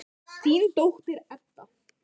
Þín dóttir, Edda.